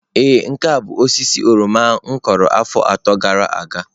Ee nke a bụ osisi oroma m kụrụ afọ atọ gara aga.